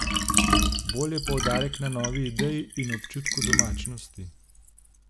Bolj je poudarek na novi ideji in občutku domačnosti.